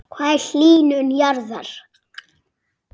Hvað er hlýnun jarðar?